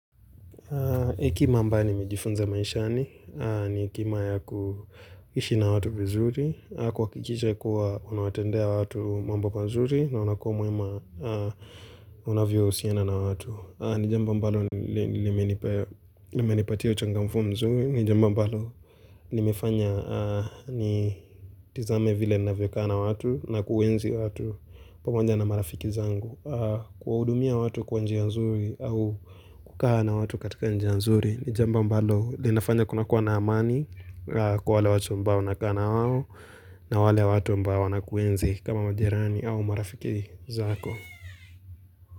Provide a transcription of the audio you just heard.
Iki mamba nimejifunza maishani, ni kima ya kuhishi na watu vizuri, kwakikiche kuwa unawatendea watu mambo mazuri na unakua mwema unavyo usiana na watu. Ni jambo ambalo limenipe limenipatia uchangamfu mzuri, ni jambo ambalo limefanya nitizame vile nnavyokaa na watu na kuenzi watu pamoja na marafiki zangu. Kwaudumia watu kwa njia nzuri au kukaa na watu katika njia nzuri ni jambo ambalo linafanya kuna kuwa na amani kwa wale watu ambao nakaa nawawo na wale watu ambao nakuenzi kama majerani au marafiki zako.